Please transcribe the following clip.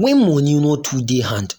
when money no too dey hand